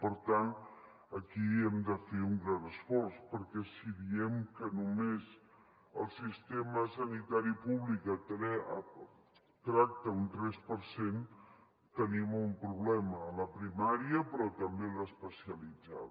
per tant aquí hem de fer un gran esforç perquè si diem que només el sistema sanitari públic tracta un tres per cent tenim un problema a la primària però també a l’especialitzada